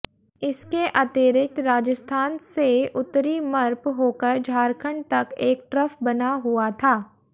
इसके अतिरिक्त राजस्थान से उत्तरी मप्र होकर झारखंड तक एक ट्रफ बना हुआ था